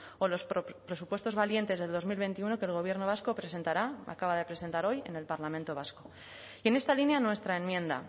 o los presupuestos valientes del dos mil veintiuno que el gobierno vasco presentará acaba de presentar hoy en el parlamento vasco y en esta línea nuestra enmienda